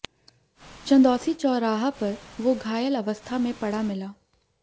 चंदौसी चौराहा पर वो घायल अवस्था में पड़ा मिला